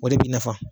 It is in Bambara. O de b'i nafa